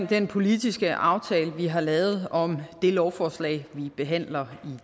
den politiske aftale vi har lavet om det lovforslag vi behandler i